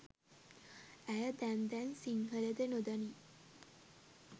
ඇය දැන් දැන් සිංහල ද නොදනී